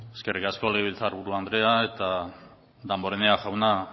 eskerrik asko legebiltzar buru andrea damborenea jauna